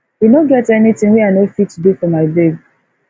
e no get anytin wey i no fit do fo my babe